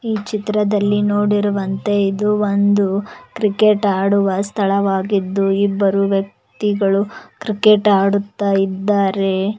ಈ ಚಿತ್ರದಲ್ಲಿ ನೋಡಿರುವಂತೆ ಇದು ಒಂದು ಕ್ರಿಕೆಟ್ ಆಡುವ ಸ್ಥಳವಾಗಿದ್ದು ಇಬ್ಬರು ವ್ಯಕ್ತಿಗಳು ಕ್ರಿಕೆಟ್ ಆಡುತ್ತಾ ಇದ್ದಾರೆ.